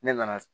Ne nana